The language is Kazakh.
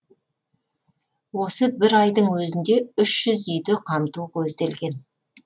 осы бір айдың өзінде үш жүз үйді қамту көзделген